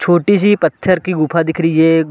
छोटी सी पत्थर की गुफा दिख रही है।